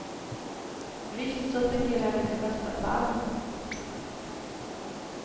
Visst, så fungerar det i bästa fall.